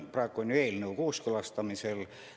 Praegu on eelnõu kooskõlastamisel.